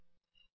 సరేనా